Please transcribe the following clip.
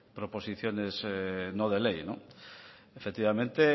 proposiciones no de ley efectivamente